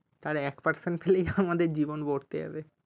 আর এক percent খালি আমাদের জীবন যাবে